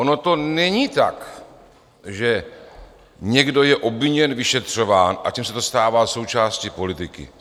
Ono to není tak, že někdo je obviněn, vyšetřován a tím se to stává součástí politiky.